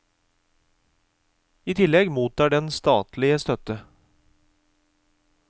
I tillegg mottar den statlig støtte.